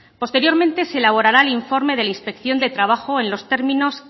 posteriormente se elaborará el informe de inspección de trabajo en los términos